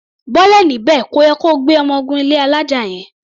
Bọ́lẹ̀ níbẹ̀! Kò yẹ ko gbé ọmọ gun ilé alája yẹn.